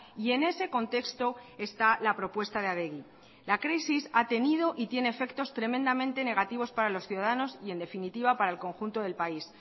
y en ese contexto está la propuesta de adegi la crisis ha tenido y tiene efectos tremendamente negativos para los ciudadanos y en definitiva para el conjunto del país